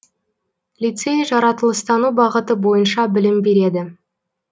лицей жаратылыстану бағыты бойынша білім береді